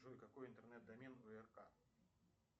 джой какой интернет домен у рк